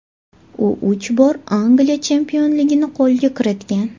U uch bor Angliya chempionligini qo‘lga kiritgan.